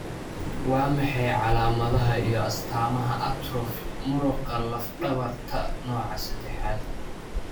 Waa maxay calaamadaha iyo astaamaha atrophy muruqa laf dhabarta nooca sedexaad?